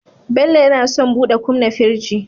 Bello yAna son buɗe kumna firji